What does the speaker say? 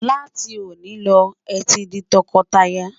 là tí oni ló, é tí di tó kò tá yà